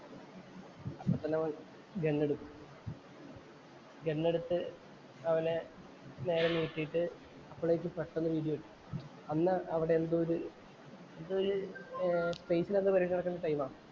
അപ്പൊ തന്നെ ഓന്‍ഗൺ എടുത്തു. ഗൺ എടുത്ത് അവനെ നേരെ നീട്ടിട്ടു അപ്പളേക്കും പെട്ടന്ന് ഒരു ഇടിവെട്ടി. അന്ന് അവിടെ എന്തോ ഒരു എന്തോ ഒരു എന്തോ പരിപാടി നടക്കുന്ന ടൈമാ.